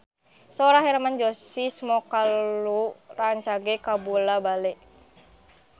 Sora Hermann Josis Mokalu rancage kabula-bale